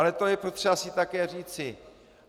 Ale to je potřeba si také říci.